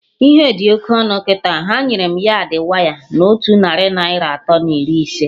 Ihe dị oké ọnụ kịta, ha nyere m yardị waya na ọnụ naira narị atọ na iri ise